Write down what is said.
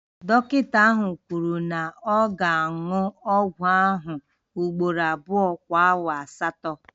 Dọkịta ahụ kwuru na ọ ga-aṅụ ọgwụ ahụ ugboro abụọ kwa awa asatọ